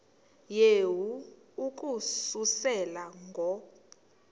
yehu ukususela ngo